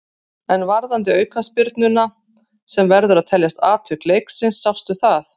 En varðandi aukaspyrnuna sem verður að teljast atvik leiksins, sástu það?